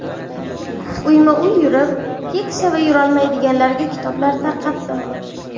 Uyma-uy yurib, keksa va yurolmaydiganlarga kitoblar tarqatardim.